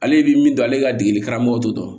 Ale bi min dɔn ale ka degeli karamɔgɔ t'o dɔn